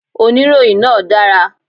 Oníròyìn náà dára